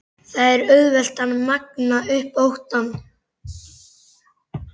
Það er auðvelt að magna upp óttann.